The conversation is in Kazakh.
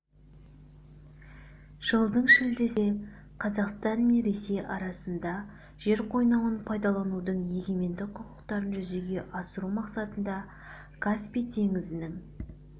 жылдың шілдесінде қазақстан мен ресей арасында жер қойнауын пайдаланудың егемендік құқықтарын жүзеге асыру мақсатында каспий теңізінің